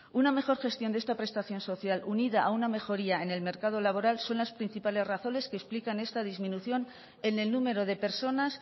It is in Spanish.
una mejor gestión de esta prestación social unida a una mejoría en el mercado laboral son las principales razones que explican esta disminución en el número de personas